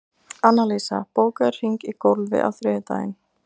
Annalísa, bókaðu hring í golf á þriðjudaginn.